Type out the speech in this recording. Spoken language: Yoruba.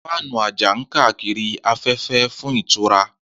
Fáànù àjà ń káàkiri afẹ́fẹ́ fún ìtura.